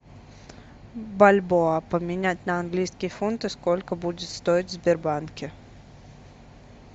бальбоа поменять на английские фунты сколько будет стоить в сбербанке